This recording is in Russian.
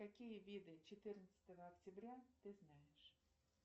какие виды четырнадцатого октября ты знаешь